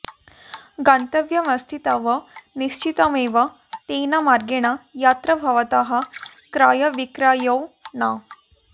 गन्तव्यमस्ति तव निश्चितमेव तेन मार्गेण यत्र भवतः क्रयविक्रयौ न